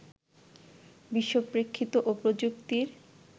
বিশ্বপ্রেক্ষিত ও প্রযুক্তির